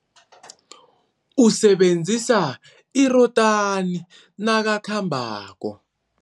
Usebenzisa irotani nakakhambako.